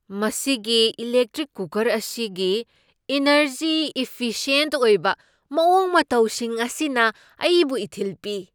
ꯃꯁꯤꯒꯤ electric cooker ꯑꯁꯤꯒꯤ energy efficient ꯑꯣꯏꯕ ꯃꯑꯣꯡ ꯃꯇꯧꯁꯤꯡ ꯑꯁꯤꯅ ꯑꯩꯕꯨ ꯏꯊꯤꯜ ꯄꯤ꯫